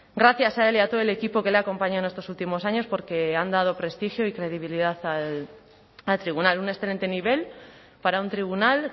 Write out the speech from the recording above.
gracias a él y a todo el equipo que le ha acompañado en estos últimos años porque han dado prestigio y credibilidad al tribunal un excelente nivel para un tribunal